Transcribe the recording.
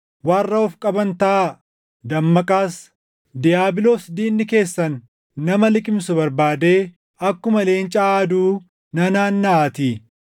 Warra of qaban taʼa; dammaqaas. Diiyaabiloos diinni keessan nama liqimsu barbaadee akkuma leenca aaduu nanaannaʼaatii.